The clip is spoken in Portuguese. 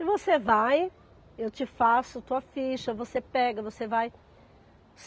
E você vai, eu te faço tua ficha, você pega, você vai.